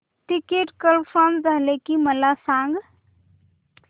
ticket confirm झाले की मला सांग